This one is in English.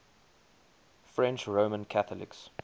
french roman catholics